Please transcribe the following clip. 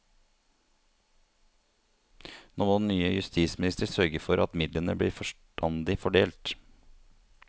Nå må den nye justisminister sørge for at midlene blir forstandig fordelt.